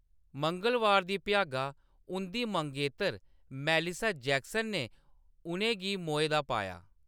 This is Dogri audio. मंगलबार दी भ्यागा उंʼदी मंगेतर मेलिसा जैक्सन ने उʼनें गी मोए दा पाया।